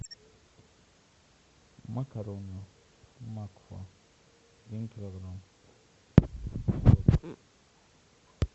макароны макфа один килограмм